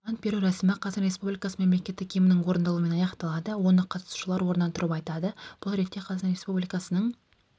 ант беру рәсімі қазақстан республикасы мемлекеттік гимнінің орындалуымен аяқталады оны қатысушылар орнынан тұрып айтады бұл ретте қазақстан республикасының